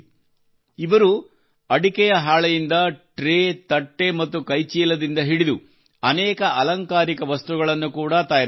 ಇವರು ಅಡಿಕೆಯ ಹಾಳೆಯಿಂದ ಟ್ರೇ ತಟ್ಟೆ ಮತ್ತು ಕೈ ಚೀಲದಿಂದ ಹಿಡಿದು ಅನೇಕ ಅಲಂಕಾರಿಕ ವಸ್ತುಗಳನ್ನು ಕೂಡಾ ತಯಾರಿಸುತ್ತಾರೆ